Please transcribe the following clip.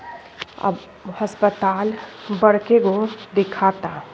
अब हस्पताल अस्पताल बड़के गो दिखाता।